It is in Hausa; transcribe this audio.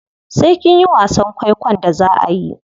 Sai kinyi wasan kwaikwon da zaa ayi.